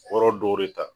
Yɔrɔ dɔw de ta